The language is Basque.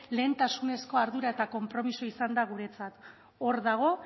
lehentasunezko ardura eta konpromisoa izan da guretzat hor dago